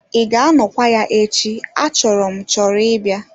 Ị ga-anọkwa ya echi achọrọ m chọrọ ịbịa?